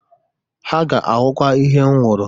Ha ga-ahụkwa ihe m hụrụ.